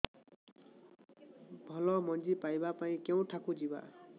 ଭଲ ମଞ୍ଜି ପାଇବା ପାଇଁ କେଉଁଠାକୁ ଯିବା